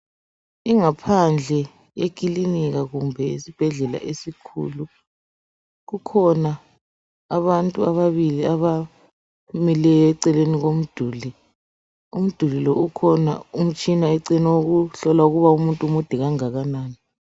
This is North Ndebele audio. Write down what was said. Ingaphandle yekilinika kumbe isibhedlela esikhulu kukhona abantu ababili abamileyo eceleni komduli umduli lo ukhona umtshina eceleni wokuhlola ukuba umuntu mude okungakanani.